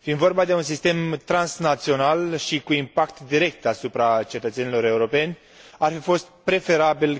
Fiind vorba de un sistem transnațional și cu impact direct asupra cetățenilor europeni, ar fi fost preferabil ca în epoca post Lisabona